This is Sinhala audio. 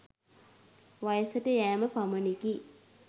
වයසට යෑම පමණකි.